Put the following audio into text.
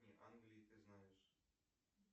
англии ты знаешь